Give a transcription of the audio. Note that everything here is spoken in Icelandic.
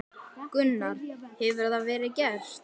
Gunnar: Hefur það verið gert?